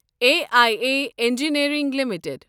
A I A engineering limited